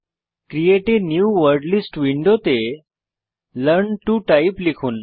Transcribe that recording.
create a new word list উইন্ডোতে learn to type লিখুন